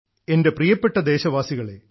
എൻറെ പ്രിയപ്പെട്ട ദേശവാസികളെ